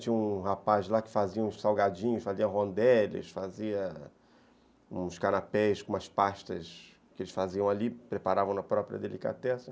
Tinha um rapaz lá que fazia uns salgadinhos, fazia rondelles, fazia uns canapés com umas pastas que eles faziam ali, preparavam na própria delicatessen.